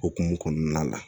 Okumu kɔnɔna la